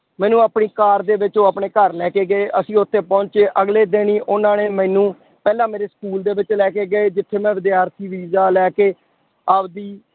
ਮੈਨੂੰ ਆਪਣੀ ਕਾਰ ਦੇ ਵਿੱਚ ਉਹ ਆਪਣੇ ਘਰ ਲੈ ਕੇ ਗਏ, ਅਸੀਂ ਉੱਥੇ ਪਹੁੰਚੇ ਅਗਲੇ ਦਿਨ ਹੀ ਉਹਨਾਂ ਨੇ ਮੈਨੂੰ ਪਹਿਲਾਂ ਮੇਰੇ school ਦੇ ਵਿੱਚ ਲੈ ਕੇ ਗਏ ਜਿੱਥੇ ਮੈਂ ਵਿਦਿਆਰਥੀ ਵੀਜ਼ਾ ਲੈ ਕੇ ਆਪਦੀ